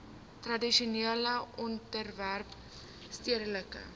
tradisionele owerhede stedelike